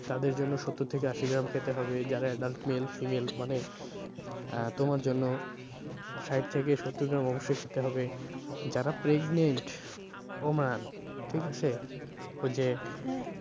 তাদের জন্য সত্তর থেকে আশি গ্রাম খেতে হবে যারা adult male female মানে আহ তোমার জন্য ষাইট থেকে সত্তর গ্রাম অবশ্যই খেতে হবে, যারা pregnantwoman ঠিক আছে? ওই যে